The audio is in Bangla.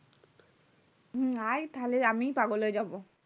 হুম এই তাহলে আমিই পাগল হয়ে যাবো